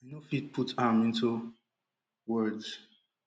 i no fit put am into words